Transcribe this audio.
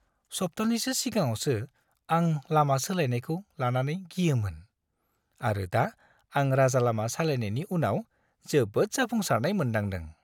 सप्तानैसो सिगाङावसो, आं लामा सोलायनायखौ लानानै गियोमोन, आरो दा आं राजालामा सालायनायनि उनाव जोबोद जाफुंसारनाय मोनदांदों!